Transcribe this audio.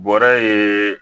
Bɔrɛ ye